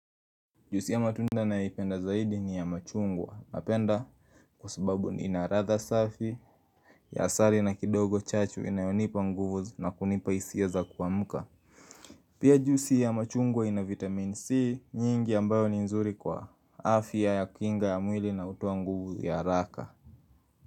Juisi ya tunda naipenda zaidi ni ya machungwa napenda kwa sababu ina radha safi ya asari na kidogo chachu inayonipa nguvu na kunipa hisia za kuamka Pia juisi ya machungwa ina vitamin C nyingi ambayo ni nzuri kwa afya ya kinga ya mwili na utoa nguvu ya haraka.